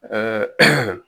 Ɛɛ